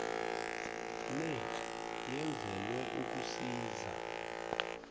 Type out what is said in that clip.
le yenzelelwe ukusiza